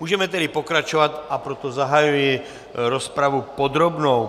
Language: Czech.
Můžeme tedy pokračovat, a proto zahajuji rozpravu podrobnou.